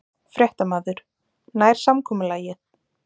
Fréttamaður: Nær samkomulagið?